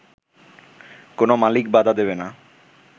কোন মালিক বাধা দেবে না